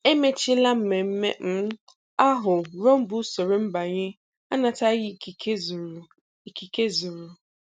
Emechila mmemme um ahụ ruo mgbe usoro mbanye anataghị ikike zuru ikike zuru